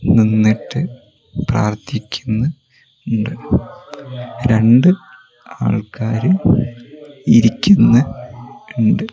നിന്നിട്ട് പ്രാർത്ഥിക്കുന്ന് ഇണ്ട് രണ്ട് ആൾക്കാര് ഇരിക്കുന്ന് ഇണ്ട്.